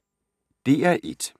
DR1